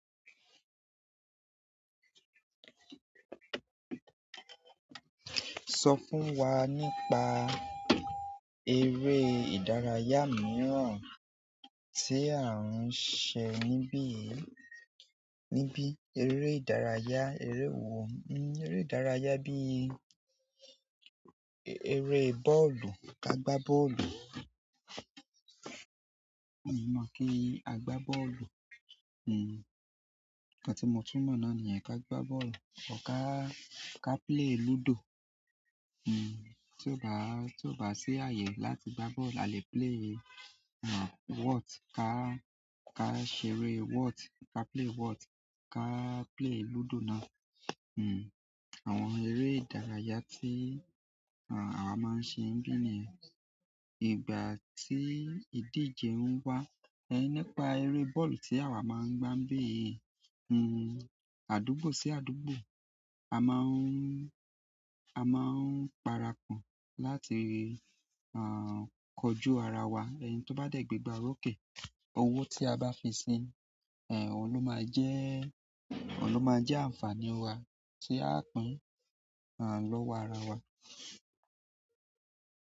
Sọ fún wa nípa eré ìdárayá mìràn tí à ń ṣe níbí yìí. Níbi eré ìdárayá, eré wo? Eré ìdárayá bí eré bọ́ọ̀lù, ka gba bọ́ọ̀lù. Mi mọ̀ kí a gbá bọ́ọ̀lù. Nkan tun mo tún mọ̀ náà níyen ka gba bọ́ọ̀lù. Ọká, ká play lúdò. Tí ó bá, tí ó bá ṣẹ́ ààyè láti gbá bọ́ọ̀lù a lè play, whott? Ka, ka ṣeré whot? Ka play what? Ka play lúdò náà. Hmm. Àwọn eré ìdárayá tí, àwa maa n ṣe níbí níyen ìgbà tí ìdíje ń wá. Ẹ̀ nípa eré bọ́ọ̀lù tí àwa máa ń gbá níbí yìí. Hmm. Àdúgbò sí àdúgbò. A máa ń, a máa ń parapọ̀ láti, kọjú ara wa. Ẹni tí ó bá dẹ̀ gbegbà oròkè, owó tí a bá fi sí, òhun ló máa jẹ́, òun ló máa jẹ́ àǹfààní wa tí a ó pín, à, lọ́wọ́ ara wa.